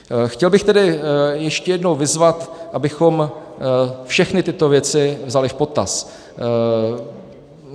Chtěl bych tedy ještě jednou vyzvat, abychom všechny tyto věci vzali v potaz.